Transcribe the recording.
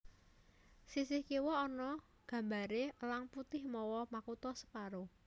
Sisih kiwa ana gambaré Elang Putih mawa makutha separo